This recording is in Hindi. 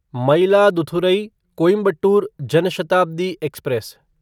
मयिलादुथुरई कोइंबटोर जन शताब्दी एक्सप्रेस